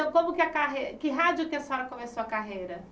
Então, como que a carre que rádio que a senhora começou a carreira?